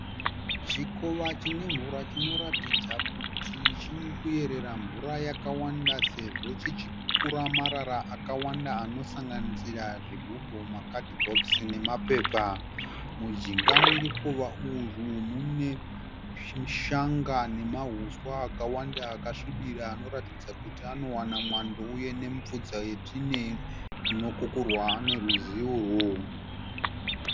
Chikowa chine mvura chinoratidza kuti chinoerera mvura yakavanda sezvo chichi kukura marara akavanda anosanganisira zvigubhu, makadhibhokisi ne mapepa. Munjinga merukova urwu mune shanga nemahuswa akawanda akasvibira anoratidza kuti anovana mwando uye nemufudze unokukurwa nerwizi urwu